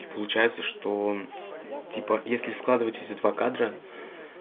и получается что типа если складывать эти два кадра